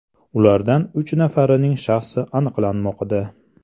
Ulardan uch nafarining shaxsi aniqlanmoqda.